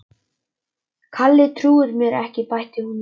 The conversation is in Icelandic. Kalli trúir mér ekki bætti hún við.